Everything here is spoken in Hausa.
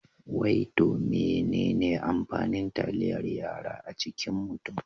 Wai to menene amfanin taliyar yara a cikin mutum?